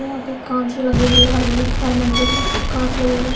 यहाँ पर कांच लगे हुए हैं हर मंज़िल में कांच लगे हुए --